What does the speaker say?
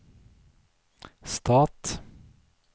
stat